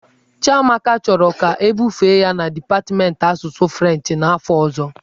Chiamaka chọrọ ka ebufe ya na dipatmentị asụsụ Frenchị n'afọ ọzọ.